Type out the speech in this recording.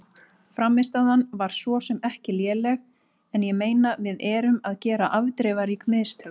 Frammistaðan var svo sem ekki léleg en ég meina við erum að gera afdrifarík mistök.